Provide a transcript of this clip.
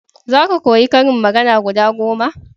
za ka koya ƙarin magana guda goma!